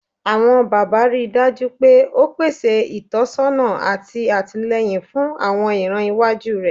Awọn baba, rii daju pe o pese itọsọna ati atilẹyin fun awọn iran iwaju rẹ